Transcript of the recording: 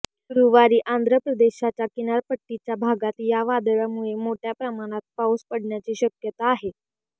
गुरुवारी आंध्र प्रदेशच्या किनारपट्टीच्या भागात या वादळामुळे मोठ्या प्रमाणात पाऊस पडण्याची शक्यता आहे